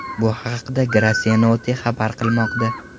Bu haqda Gracenote xabar qilmoqda .